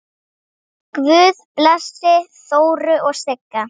Guð blessi Þóru og Sigga.